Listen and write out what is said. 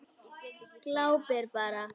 Glápir bara.